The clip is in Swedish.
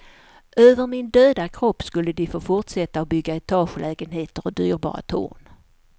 Över min döda kropp skulle de få fortsätta att bygga etagelägenheter och dyrbara torn.